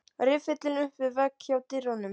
Riffillinn upp við vegg hjá dyrunum.